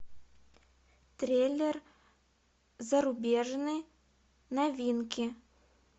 триллер зарубежный новинки